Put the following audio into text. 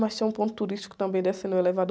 Mas tem um ponto turístico também, descendo o elevador.